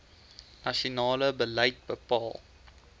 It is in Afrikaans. nasionale beleid bepaal